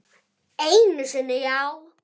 Einu sinni, já.